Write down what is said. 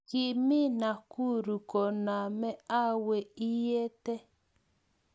kiimi Nakuru koname awe inyete?